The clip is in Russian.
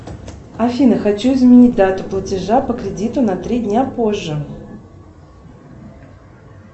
афина хочу изменить дату платежа по кредиту на три дня позже